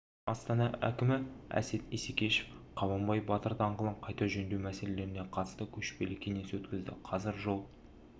астана әкімі әсет исекешев қабанбай батыр даңғылын қайта жөндеу мәселелеріне қатысты көшпелі кеңес өткізді қазір жол